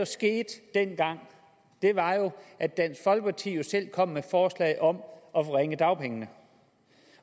skete dengang var jo at dansk folkeparti selv kom med forslag om at forringe dagpengene